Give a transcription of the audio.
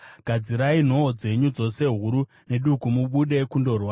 “Gadzirai nhoo dzenyu, dzose huru neduku, mubude kundorwa!